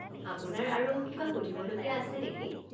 আপোনাৰ আৰু কিবা সুধিবলগীয়া আছে নেকি?